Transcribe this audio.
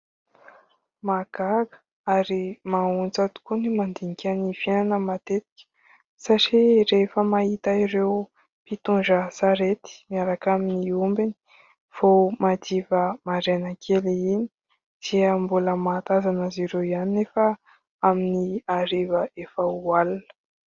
Mahagaga ary maha ontsa tokoa ny mandinika ny fiainana matetika satria rehefa mahita ireo mpitondra sarety miaraka amin'ny ombiny vao madiva maraina kely iny dia mbola mahatazana azy ireo ihany anefa amin'ny hariva efa ho alina.